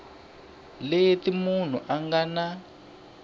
leti munhu a nga na